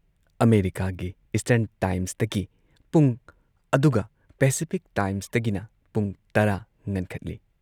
ꯑꯃꯦꯔꯤꯀꯥꯒꯤ ꯏꯁꯇꯔꯟ ꯇꯥꯏꯝꯁꯇꯒꯤ ꯄꯨꯡ ꯑꯗꯨꯒ ꯄꯦꯁꯤꯐꯤꯛ ꯇꯥꯏꯝꯁꯇꯒꯤꯅ ꯄꯨꯡ ꯇꯔꯥ ꯉꯟꯈꯠꯂꯤ ꯫